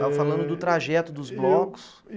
Estava falando do trajeto dos blocos.